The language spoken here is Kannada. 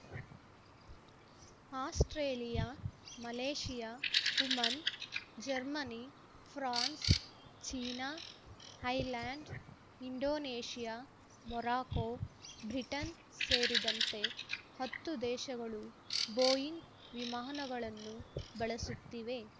Australia Malaysia Oman Germany France China Thailand Indonesia Morocco Britain ಸೇರಿದಂತೆ ಹತ್ತು ದೇಶಗಳು ಬೋಯಿಂಗ್ ವಿಮಾನಗಳನ್ನು ಬಳಸುತ್ತಿವೆ